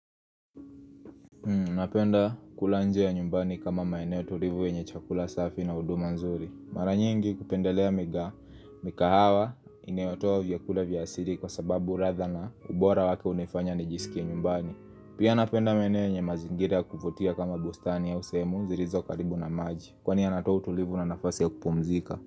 Napenda kula nje ya nyumbani kama maeneo tulivu wenye chakula safi na huduma nzuri. Mara nyingi hupendelea mika, mikahawa, inayotoa vyakula vya asiri kwa sababu radha na ubora wake unifanya nijihisi kinyumbani. Pia napenda maeneo yenye mazingira ya kufutia kama bustani ya au semu zilizo karibu na maji. Kwani yanatoa utulivu na nafasi ya kupumzika.